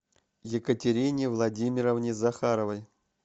екатерине владимировне захаровой